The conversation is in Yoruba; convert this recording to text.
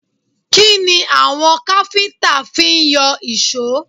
Kí ni àwọn káfíńtà ti ń yọ èṣó?